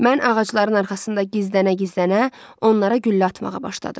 Mən ağacların arxasında gizlənə-gizlənə onlara güllə atmağa başladım.